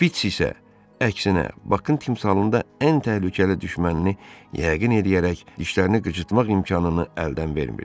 Şpiç isə əksinə Bakın timsalında ən təhlükəli düşmənini yəqin eləyərək dişlərini qıcırtmaq imkanını əldən vermirdi.